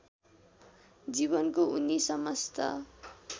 जीवको उनी समस्त